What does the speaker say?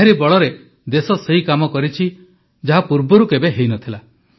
ଏହାରି ବଳରେ ଦେଶ ସେହି କାମ କରିଛି ଯାହା ପୂର୍ବରୁ କେବେ ହୋଇନଥିଲା